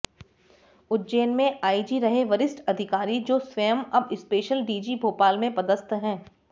उज्जैन में आईजी रहे वरिष्ठ अधिकारी जो स्वयं अब स्पेशल डीजी भोपाल में पदस्थ हैं